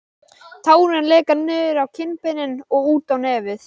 Tárin leka niður á kinnbeinin og út á nefið.